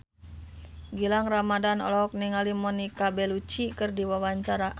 Gilang Ramadan olohok ningali Monica Belluci keur diwawancara